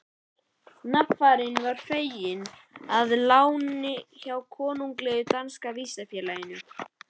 Nafarinn var fenginn að láni hjá Konunglega danska vísindafélaginu.